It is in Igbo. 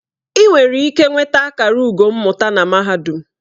Ị nwere ike nweta akara ugo mmụta na mahadum.